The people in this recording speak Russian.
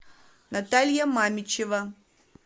наталья мамичева